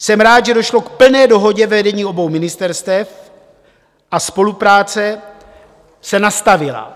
Jsem rád, že došlo k plné dohodě vedení obou ministerstev a spolupráce se nastavila.